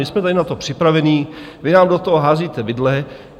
My jsme tady na to připraveni, vy nám do toho házíte vidle.